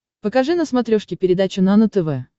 покажи на смотрешке передачу нано тв